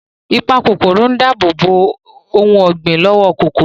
Ìpakòkòrò ń dáàbòbò ohun ọ̀gbìn lọ́wọ́ kòkòrò